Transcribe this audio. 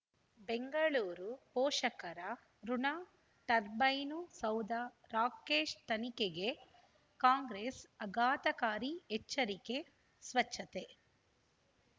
ಬೆಂಗಳೂರು ಪೋಷಕರಋಣ ಟರ್ಬೈನು ಸೌಧ ರಾಕೇಶ್ ತನಿಖೆಗೆ ಕಾಂಗ್ರೆಸ್ ಆಘಾತಕಾರಿ ಎಚ್ಚರಿಕೆ ಸ್ವಚ್ಛತೆ